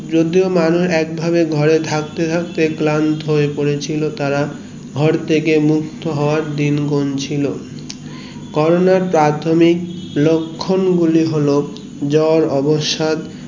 যদিও মানুষ এক ভাবে ঘরে থাকতে থাকতে ক্লান্ত হয়ে পড়েছিল তারা ঘরথেকে মুক্ত হওয়ার দিন গুনছিল কোরোনার প্রাথমিক লক্ষণ গুলি হলো জোর অবসাদ